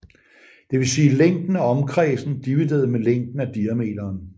Det vil sige længden af omkredsen divideret med længden af diameteren